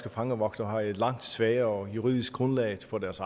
og fangevogtere har et langt svagere juridisk grundlag for deres